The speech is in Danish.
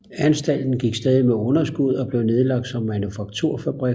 Anstalten gik stadig med underskud og blev nedlagt som manufakturfabrik